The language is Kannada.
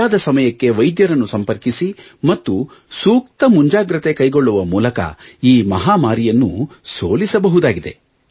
ಸರಿಯಾದ ಸಮಯಕ್ಕೆ ವೈದ್ಯರನ್ನು ಸಂಪರ್ಕಿಸಿ ಮತ್ತು ಸೂಕ್ತ ಮುಂಜಾಗೃತೆ ಕೈಗೊಳ್ಳುವ ಮೂಲಕ ಈ ಮಹಾಮಾರಿಯನ್ನು ಸೋಲಿಸಬಹುದಾಗಿದೆ